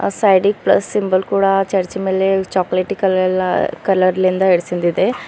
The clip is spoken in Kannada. ಅ ಸೈಡಿ ಗ ಪ್ಲಸ್ ಸಿಂಬಲ್ ಕೂಡ ಚರ್ಚ್ ಮೆಲೆ ಚೋಕಲೆಟಿ ಕಲೆಲ್ಲಾ ಕಲರ್ ಲಿಂದ ಹಿಂಡಸಿಂದ್ ಇದೆ.